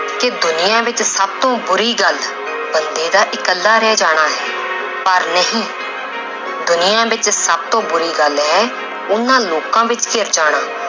ਕਿ ਦੁਨੀਆਂ ਵਿੱਚ ਸਭ ਤੋਂ ਬੁਰੀ ਗੱਲ ਬੰਦੇ ਦਾ ਇਕੱਲਾ ਰਹਿ ਜਾਣਾ ਹੈ ਪਰ ਨਹੀਂ ਦੁਨੀਆਂ ਵਿੱਚ ਸਭ ਤੋਂ ਬੁਰੀ ਗੱਲ ਹੈ ਉਹਨਾਂ ਲੋਕਾਂ ਵਿੱਚ ਘਿਰ ਜਾਣਾ